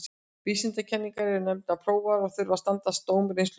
Vísindakenningar eru nefnilega prófaðar og þurfa að standast dóm reynslunnar.